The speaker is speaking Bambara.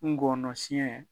Ngɔnɔ siyɛn